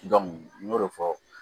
n y'o de fɔ